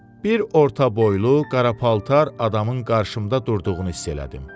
Bir orta boylu qara paltar adamın qarşımda durduğunu hiss elədim.